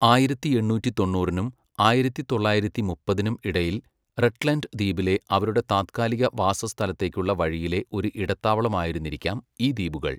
ആയിരത്തി എണ്ണൂറ്റി തൊണ്ണൂറിനും ആയിരത്തി തൊള്ളായിരത്തി മുപ്പതിനും ഇടയിൽ റട്ട്ലൻഡ് ദ്വീപിലെ അവരുടെ താത്കാലിക വാസസ്ഥലത്തേക്കുള്ള വഴിയിലെ ഒരു ഇടത്താവളം ആയിരുന്നിരിക്കാം ഈ ദ്വീപുകൾ.